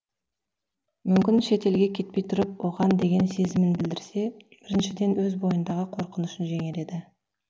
мүмкін шет елге кетпей тұрып оған деген сезімін білдірсе біріншіден өз бойындағы қорқынышын жеңер еді